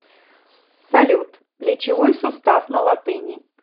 салют плечевой сустав на латыни